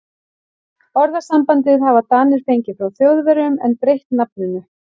Orðasambandið hafa Danir fengið frá Þjóðverjum en breytt nafninu.